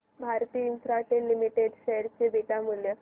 Bharti Infratel limited share चे beta मूल्य